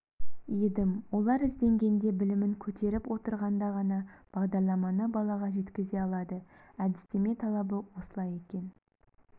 едім олар ізденгенде білімін көтеріп отырғанда ғана бағдарламаны балаға жеткізе алады әдістеме талабы осылай екен